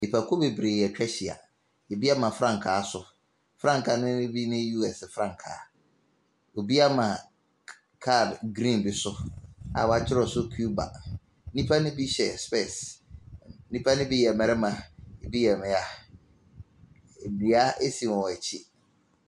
Nnipakuo bebree atwa ahyia. Ebi ama frankaa so. Frankaa nobi yɛ bi ne US frankaa. Obi ama car green bi so a wɔkyerɛw so Cuba. Nnipa no bi hyɛ spɛɛs. Nnipa no bi mmarima, ebi yɛ mmaa. Dua si wɔn akyi.